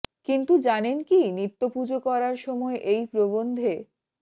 কিন্তু জানেন কি নিত্য পুজো করার সময় এই প্রবন্ধে